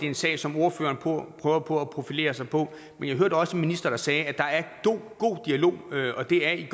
en sag som ordføreren prøver på at profilere sig på men jeg hørte også en minister der sagde at der er god dialog og det er i en